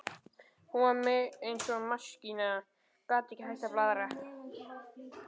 Hún var eins og maskína, gat ekki hætt að blaðra.